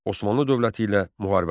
Osmanlı dövləti ilə müharibələr.